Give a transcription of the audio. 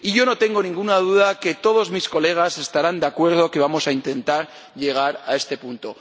Y yo no tengo ninguna duda de que todos mis colegas estarán de acuerdo en que vamos a intentar llegar a este punto.